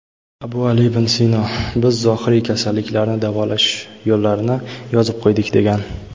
Abu Ali ibn Sino: "Biz zohiriy kasalliklarni davolash yo‘llarini yozib qo‘ydik" degan.